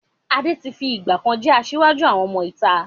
Adé tí fi ìgbàkan jẹ́ asiwaju àwọn ọmọ ìta.